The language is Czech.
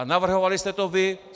A navrhovali jste to vy.